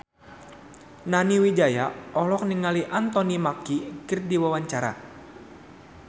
Nani Wijaya olohok ningali Anthony Mackie keur diwawancara